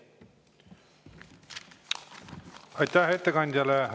Aitäh ettekandjale!